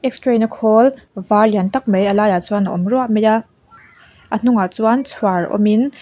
x ray na khawl var lian tak mai a lai ah chuan a awm ruap mai a a hnungah chuan chhuar awm in--